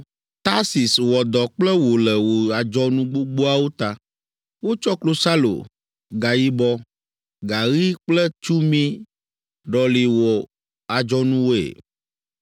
“Tarsis wɔ dɔ kple wò le wò adzɔnu gbogboawo ta. Wotsɔ klosalo, gayibɔ, gaɣi kple tsumi ɖɔli wò adzɔnuwoe.